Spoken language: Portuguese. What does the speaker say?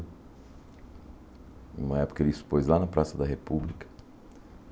Em uma época ele expôs lá na Praça da República.